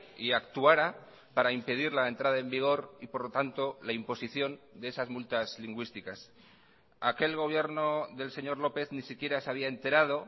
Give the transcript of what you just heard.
y actuara para impedir la entrada en vigor y por lo tanto la imposición de esas multas lingüísticas aquel gobierno del señor lópez ni siquiera se había enterado